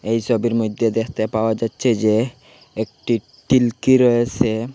এই ছবির মইধ্যে দেখতে পাওয়া যাচ্ছে যে একটি টিল্কি রয়েসে।